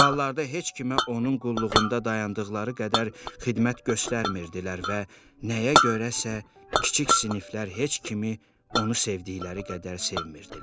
Ballarda heç kimə onun qulluğunda dayandıqları qədər xidmət göstərmirdilər və nəyə görəsə kiçik siniflər heç kimi onu sevdikləri qədər sevmirilər.